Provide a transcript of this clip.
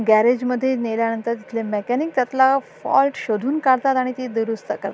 ग्याराजमध्ये नेल्या नंतर तिथले मेकॅनिक त्यातला फॉल्ट शोधून काढतात आणि ती दुरुस्त कर --